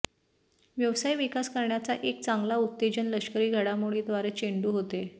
व्यवसाय विकास करण्याचा एक चांगला उत्तेजन लष्करी घडामोडी द्वारे चेंडू होते